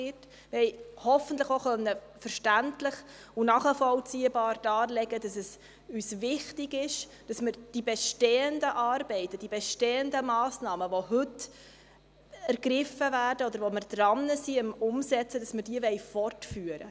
Wir haben hoffentlich auch verständlich und nachvollziehbar darlegen können, dass es uns wichtig ist, die bestehenden Massnahmen, die heute ergriffen werden oder an deren Umsetzung wir arbeiten, fortzuführen.